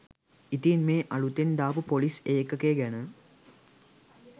ඉතින් මේ අලූතෙන් දාපු පොලිස් ඒකකය ගැන